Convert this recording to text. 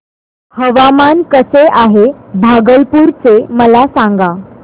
हवामान कसे आहे भागलपुर चे मला सांगा